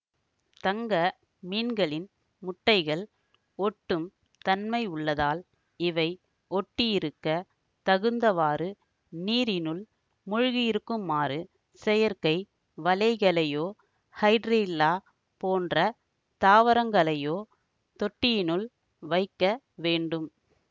தங்க மீன்களின் முட்டைகள் ஒட்டும் தன்மையுள்ளதால் இவை ஒட்டியிருக்கத் தகுந்தவாறு நீரினுள் மூழ்கியிருக்குமாறு செயற்கை வலைகளையோ ஹைடிரில்லா போன்ற தாவரங்களையோ தொட்டியினுள் வைக்க வேண்டும்